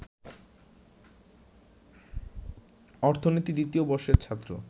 অর্থনীতি দ্বিতীয় বর্ষের ছাত্র